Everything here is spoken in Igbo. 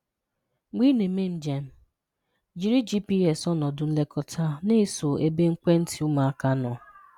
Mgbe ị na-eme njem, jiri GPS ọnọdụ nlekọta na-eso ebe ekwentị ụmụaka nọ.